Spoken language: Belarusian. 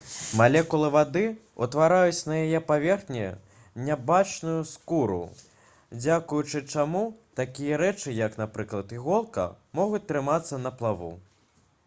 малекулы вады ўтвараюць на яе паверхні нябачную скуру дзякуючы чаму такія рэчы як напрыклад іголка могуць трымацца на плаву